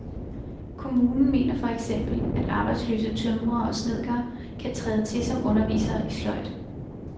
Kommunen mener for eksempel, at arbejdsløse tømrere og snedkere kan træde til som undervisere i sløjd.